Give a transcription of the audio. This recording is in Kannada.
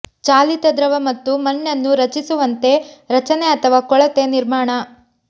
ಚಾಲಿತ ದ್ರವ ಮತ್ತು ಮಣ್ಣನ್ನು ರಚಿಸುವಂತೆ ರಚನೆ ಅಥವಾ ಕೊಳೆತ ನಿರ್ಮಾಣ